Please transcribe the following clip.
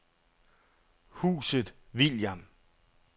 Huset William